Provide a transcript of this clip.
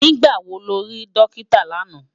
Nigbá wó ló ri Dókitá làná?